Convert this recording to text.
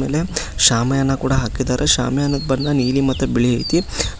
ಆಮೇಲೆ ಶಾಮಿಯಾನ ಕೂಡ ಹಾಕಿದ್ದಾರೆ ಶಾಮಿಯಾನದ ಬಣ್ಣ ನೀಲಿ ಮತ್ತು ಬಿಳಿ ಐತಿ